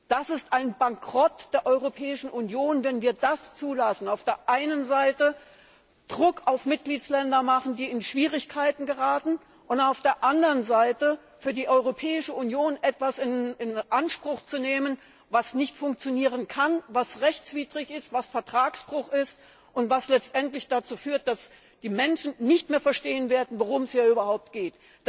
Das ist ein Bankrott der Europäischen Union, wenn wir das zulassen, auf der einen Seite Druck auf Mitgliedsländer machen, die in Schwierigkeiten geraten, und auf der anderen Seite für die Europäische Union etwas in Anspruch nehmen, was nicht funktionieren kann, was rechtwidrig ist, was Vertragsbruch ist und was letztendlich dazu führt, dass die Menschen nicht mehr verstehen werden, worum es hier überhaupt geht.